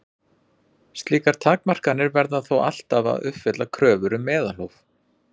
Slíkar takmarkanir verða þó ávallt að uppfylla kröfur um meðalhóf.